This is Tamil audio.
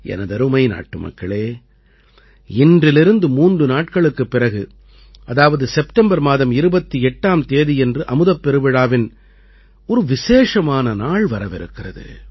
எனதருமை நாட்டுமக்களே இன்றிலிருந்து மூன்று நாட்களுக்குப் பிறகு அதாவது செப்டம்பர் மாதம் 28ஆம் தேதியன்று அமுதப் பெருவிழாவின் ஒரு விசேஷமான நாள் வரவிருக்கிறது